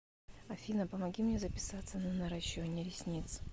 афина помоги мне записаться на наращивание ресниц